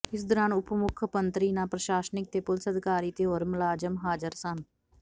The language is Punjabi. ਇਸ ਦੌਰਾਨ ਉਪ ਮੁੱਖ ਮੰਤਰੀ ਨਾਲ ਪ੍ਰਸ਼ਾਸਨਿਕ ਤੇ ਪੁਲੀਸ ਅਧਿਕਾਰੀ ਤੇ ਹੋਰ ਮੁਲਾਜ਼ਮ ਹਾਜ਼ਰ ਸਨ